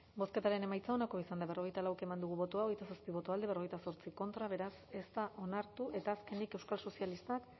bozketaren emaitza onako izan da hirurogeita hamabost eman dugu bozka hogeita zazpi boto alde cuarenta y ocho contra beraz ez da onartu eta azkenik euskal sozialistak